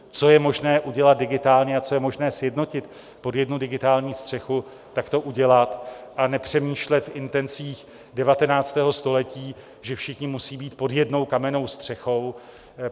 Co je možné udělat digitálně a co je možné sjednotit pod jednu digitální střechu, tak to udělat, a nepřemýšlet v intencích 19. století, že všichni musí být pod jednou kamennou střechou.